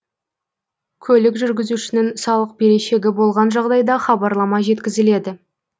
көлік жүргізушінің салық берешегі болған жағдайда хабарлама жеткізіледі